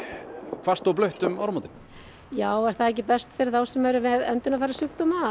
hvasst og blautt um áramótin já er það ekki best fyrir þá sem eru með öndunarfærasjúkdóma að